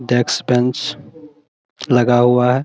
Desk bench लगा हुआ है।